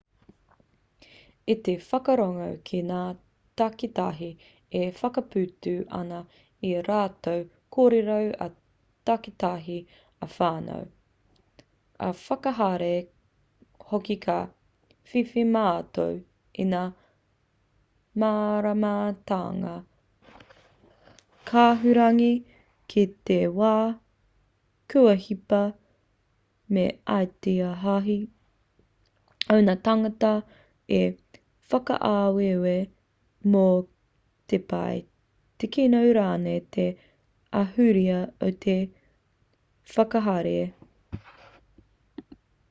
i te whakarongo ki ngā takitahi e whakaputa ana i ā rātou kōrero ā-takitahi ā-whānau ā-whakahaere hoki ka whiwhi mātou i ngā māramatanga kahurangi ki te wā kua hipa me ētahi o ngā tāngata i whakaaweawe mō te pai te kino rānei te ahurea o te whakahaere